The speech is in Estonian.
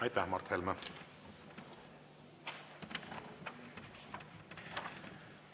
Aitäh, Mart Helme!